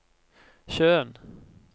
sjøen